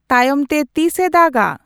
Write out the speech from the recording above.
ᱛᱟᱭᱚᱢᱛᱮ ᱛᱤᱥ ᱮ ᱫᱟᱜ ᱟ